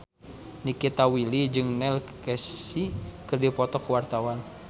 Nikita Willy jeung Neil Casey keur dipoto ku wartawan